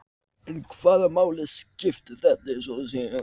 En hvaða máli skipti þetta svo sem?